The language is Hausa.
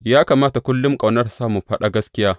Ya kamata kullum ƙauna tă sa mu faɗa gaskiya.